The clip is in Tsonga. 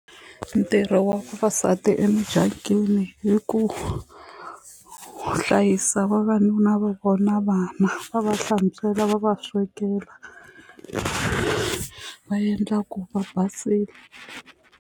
Ntirho wa vavasati emidyangwini i ku hlayisa vavanuna va vona na vana va va hlantswela va va swekela va endla ku va basile.